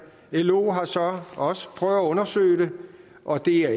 lo har så også prøvet at undersøge det og det er